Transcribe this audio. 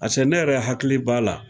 Pase ne yɛrɛ hakili b'a la